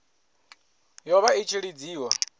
yo vha i tshi lidziwa